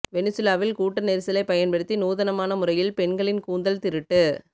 வெனிசுலாவில் கூட்ட நெரிசலிலை பயன்படுத்தி நூதனமான முறையில் பெண்களின் கூந்தல் திருட்டு